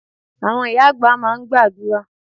Àwọn ìyá àgbà máa ń gbàdúrà.